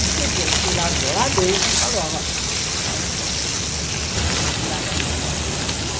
O sujeito me largou lá dentro e falou, olha, a senhora pode fazer, procurar aqui o que a senhora quiser.